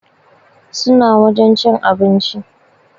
Suna wajen cin abinci